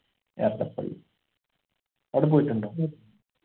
എടപ്പള്ളി ആട പോയിട്ടുണ്ടോ